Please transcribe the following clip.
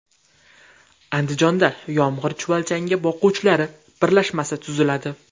Andijonda yomg‘ir chuvalchangi boquvchilar birlashmasi tuziladi.